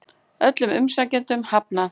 Öllum umsækjendum hafnað